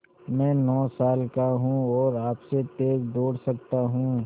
मैं नौ साल का हूँ और आपसे तेज़ दौड़ सकता हूँ